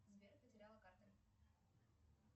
сбер потеряла карту